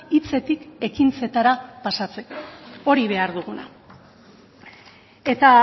hitzetik ekintzetara pasatzeko hori behar duguna eta